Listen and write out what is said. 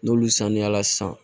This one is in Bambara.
N'olu sanuyala san